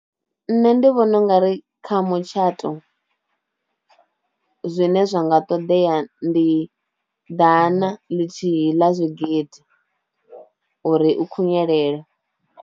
Nṋe ndi vhona ungari kha mutshato zwine zwa nga ṱoḓea ndi ḓana ḽithihi ḽa zwigidi uri u khunyelele.